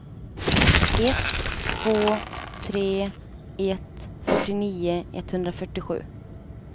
ett två tre ett fyrtionio etthundrafyrtiosju